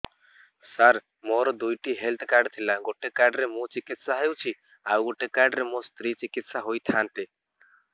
ସାର ମୋର ଦୁଇଟି health card ଥିଲା ଗୋଟେ କାର୍ଡ ରେ ମୁଁ ଚିକିତ୍ସା ହେଉଛି ଆଉ ଗୋଟେ କାର୍ଡ ରେ ମୋ ସ୍ତ୍ରୀ ଚିକିତ୍ସା ହୋଇଥାନ୍ତେ